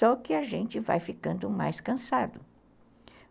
Só que a gente vai ficando mais cansado.